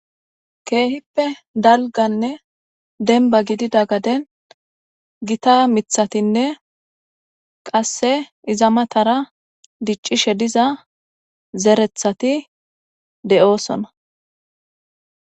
keehippe dalganne denba gidida gaden gita mithatinne qasse izamatara diccishe diza zerethati de7oosona